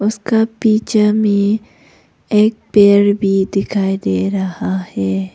उसका पीछा में एक पेड़ भी दिखाई दे रहा है।